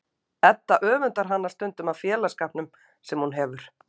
Edda öfundar hana stundum af félagsskapnum sem hún hefur.